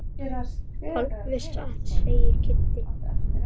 Alveg satt segir Kiddi.